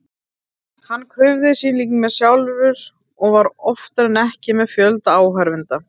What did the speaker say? Hann krufði sín lík sjálfur og var oftar en ekki með fjölda áhorfenda.